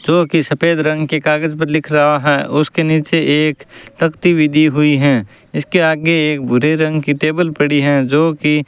जो कि सफेद रंग के कागज पर लिख रहा है उसके नीचे एक तख्ती भी दी हुई है इसके आगे एक भूरे रंग की टेबल पड़ी हैं जो कि --